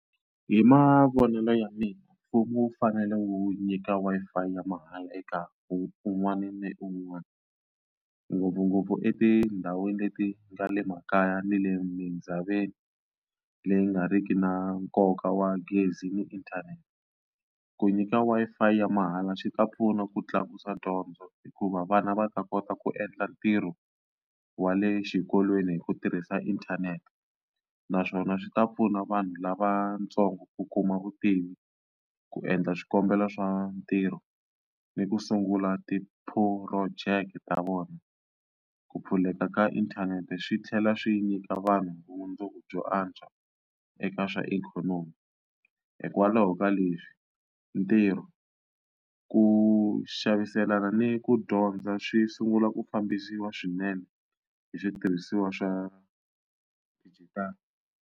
Hi mavonelo ya mina mfumo wu fanele wu nyika Wi-Fi ya mahala eka un'wana na un'wana, ngopfungopfu etindhawini leti nga le makaya ni le leyi nga riki na nkoka wa gezi ni inthanete. Ku nyika Wi-Fi ya mahala swi ta pfuna ku tlakusa dyondzo hikuva vana va ta kota ku endla ntirho wa le xikolweni hi ku tirhisa inthanete, naswona swi ta pfuna vanhu lavatsongo ku kuma vutivi, ku endla swikombelo swa ntirho, ni ku sungula tiphurojete ta vona. Ku pfuleka ka inthanete swi tlhela swi nyika vanhu vumundzuku byo antswa eka swa ikhonomi, hikwalaho ka leswi ntirho, ku xaviselana, ni ku dyondza swi sungula ku fambisiwa swinene hi switirhisiwa swa dijitali.